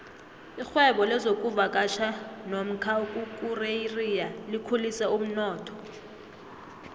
irhwebo lezokuvakatjha nomka ukukureriya likhulise umnotho